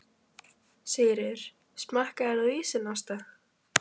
Sigríður: Smakkaðir þú ísinn, Ásta?